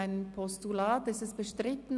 Ist das Postulat bestritten?